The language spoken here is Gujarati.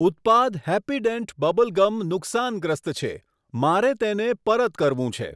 ઉત્પાદ હેપ્પીડેન્ટ બબલ ગમ નુકસાનગ્રસ્ત છે, મારે તેને પરત કરવું છે.